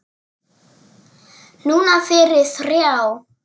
Núna fyrir þrjá.